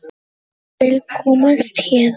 Vill komast héðan.